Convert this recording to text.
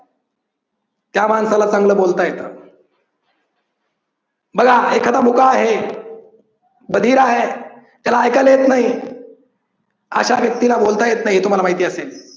त्या माणसाला चांगलं बोलता येतं. बघा एखादा मुका आहे, बधिर आहे, त्याला ऐकायला येत नाही अशा व्यक्तीला बोलता येत नाही हे तुम्हाला माहिती असेल.